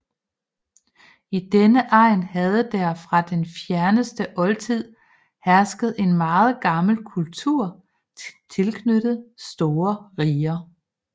I denne egn havde der fra den fjerneste oldtid hersket en meget gammel kultur tilknyttet store riger